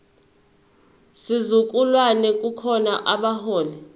sizukulwane kukhona abaholi